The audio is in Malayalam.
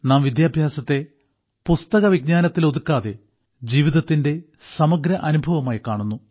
നാം വിദ്യാഭ്യാസത്തെ പുസ്തകവിജ്ഞാനത്തിലൊതുക്കാതെ ജീവിതത്തിന്റെ സമഗ്ര അനുഭവമായി കാണുന്നു